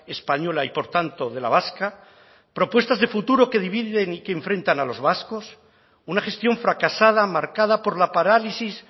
española y por tanto de la vasca propuestas de futuro que dividen y que enfrentan a los vascos una gestión fracasada marcada por la parálisis